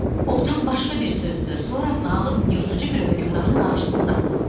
O tam başqa bir sözdür, sonra zalım yırtıcı bir hökümdarın qarşısındasınız.